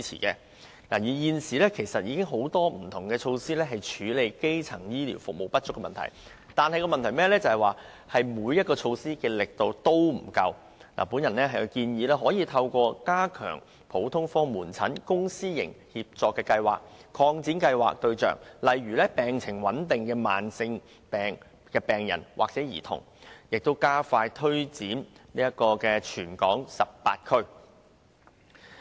雖然現時已有多項措施處理基層醫療服務不足的問題，但問題在於每項措施也是力度不足，故我建議政府可透過加強普通科門診公、私營協作計劃，擴大計劃的服務對象以涵蓋病情穩定的慢性病病患者或兒童，並加快推展計劃至全港18區。